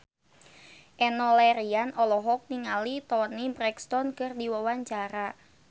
Enno Lerian olohok ningali Toni Brexton keur diwawancara